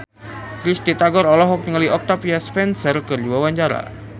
Risty Tagor olohok ningali Octavia Spencer keur diwawancara